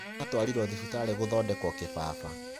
Aratwarirwo thibitarĩ kũthondekwo kibaba.